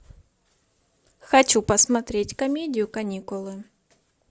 хочу посмотреть комедию каникулы